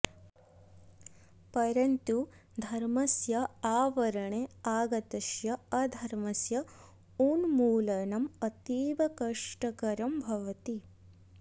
परन्तु धर्मस्य आवरणे आगतस्य अधर्मस्य उन्मूलनम् अतीव कष्टकरं भवति